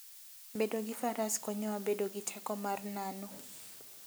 Bedo gi Faras konyowa bedo gi teko mar nano.